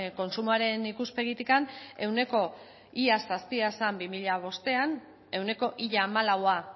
kontsumoaren ikuspegitik ia ehuneko zazpia zen bi mila bostean ia ehuneko hamalaua